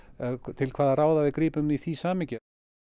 til hvaða ráða við grípum í því samhengi